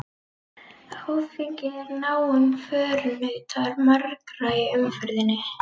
Áfengi er náinn förunautur margra í umferðinni.